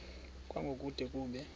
kwango kude kube